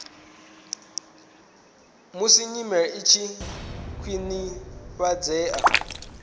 musi nyimele i tshi khwinifhadzea